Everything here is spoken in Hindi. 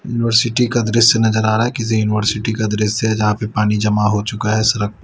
यूनिवर्सिटी का दृश्य नजर आ रहा है किसी यूनिवर्सिटी का दृश्य जहां पे पानी जमा हो चुका है सड़क प--